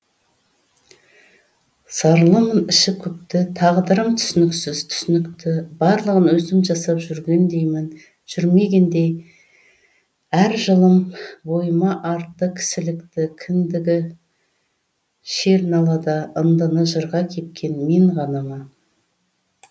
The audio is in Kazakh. зарлымын іші күпті тағдырым түсініксіз түсінікті барлығын өзім жасап жүрмегендей әр жылым бойыма артты кісілікті кіндігі шер налада ындыны жырға кепкен мен ғана ма